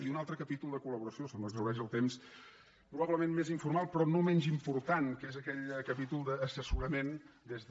i un altre capítol de col·temps probablement més informal però no menys important que és aquell capítol d’assessorament des de